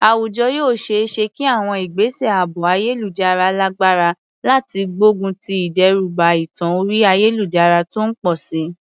Àwùjọ yóò ṣe é ṣe kí àwọn ìgbésẹ̀ ààbò ayélujára lágbára láti gbógun ti ìdẹ́rùbà ẹ̀tàn orí ayélujára tó ń pọ̀ sí i.